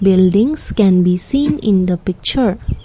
buildings can be seen in the picture.